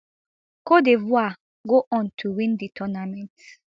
cte divoire go on to win di tournament